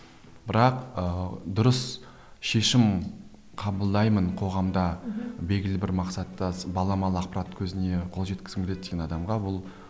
бірақ ыыы дұрыс шешім қабылдаймын қоғамда белгілі бір мақсатта баламалы ақпарат көзіне қол жеткізгім келеді деген адамға ол